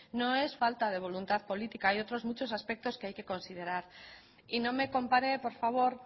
no es falta de voluntad política hay muchos otros aspectos que hay que considerar y no me compare por favor